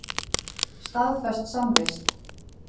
Staðfest samvist.